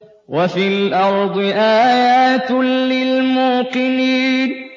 وَفِي الْأَرْضِ آيَاتٌ لِّلْمُوقِنِينَ